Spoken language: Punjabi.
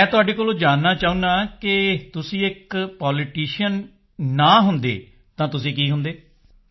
ਮੈਂ ਤੁਹਾਡੇ ਕੋਲੋਂ ਜਾਨਣਾ ਚਾਹੁੰਦਾ ਹਾਂ ਕਿ ਤੁਸੀਂ ਇੱਕ ਪੋਲੀਟੀਸ਼ੀਅਨ ਨਾ ਹੁੰਦੇ ਤਾਂ ਤੁਸੀਂ ਕੀ ਹੁੰਦੇ